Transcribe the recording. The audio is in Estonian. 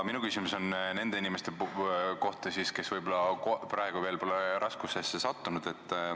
Minu küsimus on nende inimeste kohta, kes võib-olla praegu veel pole raskustesse sattunud.